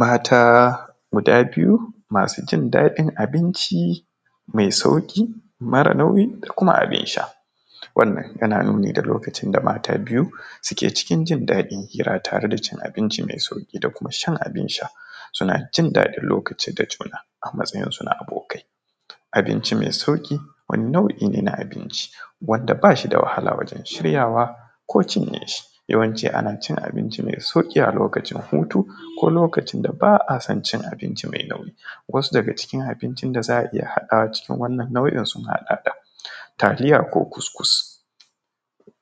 Mata guda biyu masu jin daɗin abinci mai sauƙi mara nauyi da kuma abin sha, wannan yana nuni da lokacin da mata biyu suke cikin jin daɗi suna tare da cin abinci mai sauƙi da kuma shan abin sha suna jin daɗin lokaci da juna a matsayin su na abokai, abinci mai sauƙi wani nau’i ne na abinci wadda bashi da wahala wajen shiryawa ko cinye shi yawanci ana cin abinci mai sauƙi a lokacin hutu ko lokacin da ba a son cin abinci mai nauyi, wasu daga cikin abinci da za a iya haɗawa cikin wannan nau’in sun haɗa da taliya ko kuskus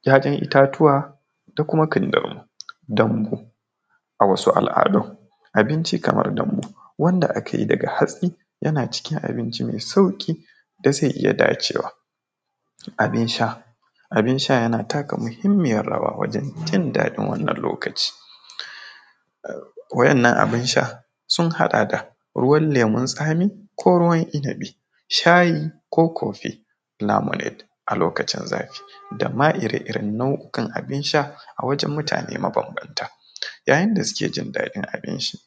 ‘ya’yan itatuwa da kuma kindirimo dambu a wasu al’adun abinci kamar dambu wanda ake yi daga hatsi yana cikin abincin mai sauƙi da zai iya dacewa, abin sha abin sha yana taka muhimmiyar rawa wajen jin daɗin wannan lokaci waɗannan abin sha sun haɗa da ruwan lemun tsami ko ruwan inibi shayi ko cofi namu net a lokacin zafi dama iraren nau’ikan abin sha a wajen mutane mabanbanta yayin da suke jin daɗin abincin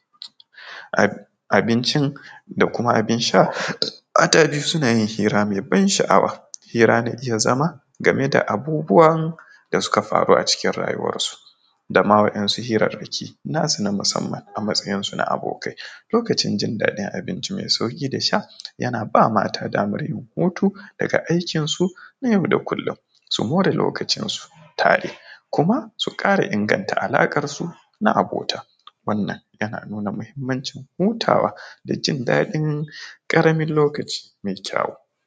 abincin da kuma abin sha, mata dai suna yin hira mai ban sha’awa hira na iya zama game da abubuwan da suka faru a cikin rayuwarsu dama waɗansu hirarraki nasu na musamman a matsayin su na abokai lokacin jin daɗi abinci mai sauƙi da sha, yana ba mata dama yin hutu daga aikin suna yau da kullum su more lokacin su tare ko kuma su ƙare inganta alaƙan su na abota, wannan yana nuna muhimmancin hutawa da jin daɗin karamin lokaci mai kyawu.